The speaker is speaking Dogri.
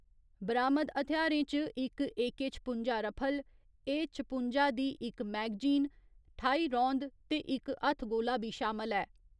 बरामद हथ्यारें च इक ए .छपुंजा रफल, ए .छपुंजा दी इक मैगजीन, ठाई रौंद ते इक हत्थगोला बी शामल ऐ।